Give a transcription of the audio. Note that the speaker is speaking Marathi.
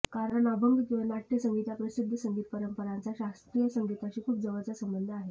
कारण अभंग किंवा नाटय़संगीत या प्रसिद्ध संगीत परंपरांचा शास्त्रीय संगीताशी खूप जवळचा संबंध आहे